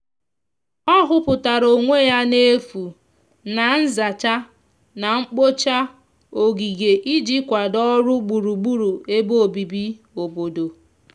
ọ huputara onwe ya n'efu na nzacha na mgbocha ogige iji kwado ọrụ gburugburu ebe obibi obodo